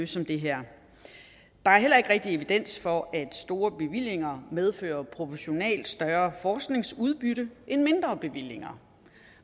som det her der er heller ikke rigtig evidens for at store bevillinger medfører proportionalt større forskningsudbytte end mindre bevillinger